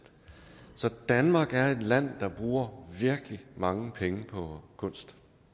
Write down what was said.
så danmark er et land der bruger virkelig mange penge på kunst